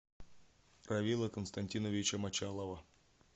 равила константиновича мочалова